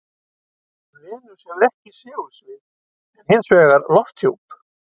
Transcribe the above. Venus hefur ekki segulsvið, en hins vegar lofthjúp.